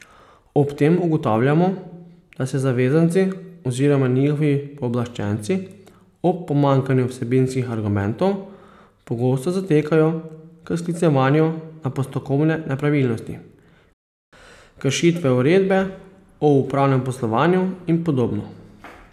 Ob tem ugotavljamo, da se zavezanci oziroma njihovi pooblaščenci ob pomanjkanju vsebinskih argumentov pogosto zatekajo k sklicevanju na postopkovne nepravilnosti, kršitve uredbe o upravnem poslovanju in podobno.